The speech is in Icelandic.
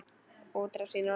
Útrás í norður